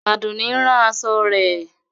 Adúnní ń rán aṣọ rẹ̀.